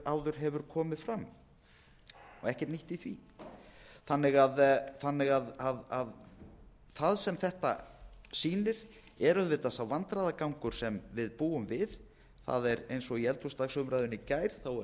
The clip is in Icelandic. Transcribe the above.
áður hefur komið fram og er ekkert nýtt í því það sem þetta sýnir er auðvitað sá vandræðagangur sem við búum við það er eins og í eldhúsdagsumræðunni í gær þá er reynt að breiða yfir þetta með því að reyna